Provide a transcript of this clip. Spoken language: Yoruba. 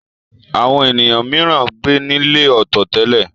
Àwọn ènìyàn mìíràn ń gbé nílé ọ̀tọ̀ tẹ́lẹ̀.